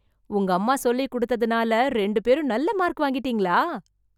உங்கம்மா சொல்லிக் குடுத்ததுனால, ரெண்டு பேரும் நல்ல மார்க் வாங்கிட்டீங்களா...